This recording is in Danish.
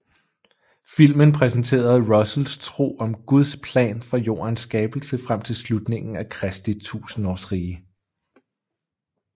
Filmen præsenterede Russells tro om Guds plan fra jordens skabelse frem til slutningen af Kristi tusindårsrige